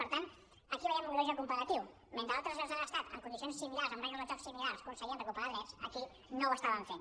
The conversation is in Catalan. per tant aquí veiem un greuge comparatiu mentre a altres llocs de l’estat en condicions similars amb regles del joc similars aconseguien recuperar drets aquí no ho estàvem fent